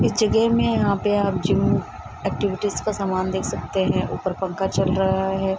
इस जगह मे यहाँ पे आप जिम एक्टिविटीज का सामान देख सकते है ऊपर पंखा चल रहा है।